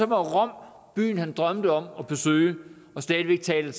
rom byen han drømte om at besøge og stadig taler